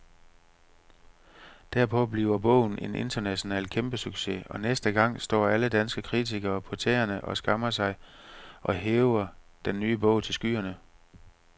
Derpå bliver bogen en international kæmpesucces, og næste gang står alle danske kritikere på tæerne og skammer sig og hæver den nye bog til skyerne.